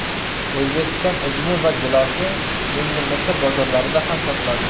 O‘zbekiston uzumi va gilosi endi Misr bozorlarida ham sotiladi.